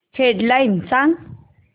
head lines सांग